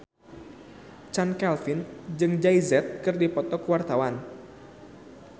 Chand Kelvin jeung Jay Z keur dipoto ku wartawan